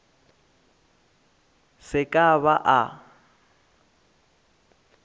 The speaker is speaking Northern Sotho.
se ke a ba a